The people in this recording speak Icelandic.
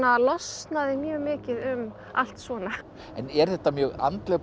losnaði mjög mikið um allt svona en er þetta mjög andleg bók